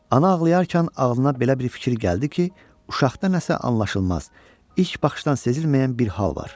Ana ağlayarkən ağlına belə bir fikir gəldi ki, uşaqda nəsə anlaşılmaz, ilk baxışdan sezilməyən bir hal var.